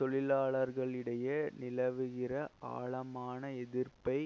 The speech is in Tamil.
தொழிலாளர்களிடையே நிலவுகின்ற ஆழமான எதிர்ப்பை